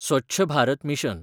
Swachh Bharat mission